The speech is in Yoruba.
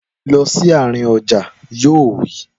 Lọ sí àárín ọjà! Yóò wí.